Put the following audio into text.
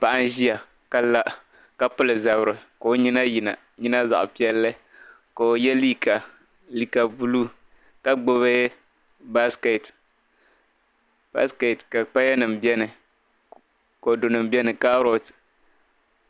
Paɣa n-ʒiya ka la, ka pili zabiri. Ko' nyina yi na, nyina zaɣa piɛlli. Ko'yɛ liika, liika blue ka gbibi basket ka paya nim bieni, kodunim bieni, carrot.